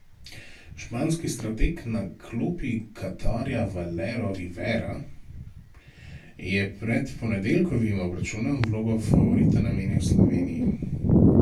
Španski strateg na klopi Katarja Valero Rivera je pred ponedeljkovim obračunom vlogo favorita namenil Sloveniji.